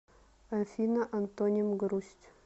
афина антоним грусть